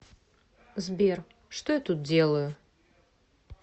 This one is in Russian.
сбер что я тут делаю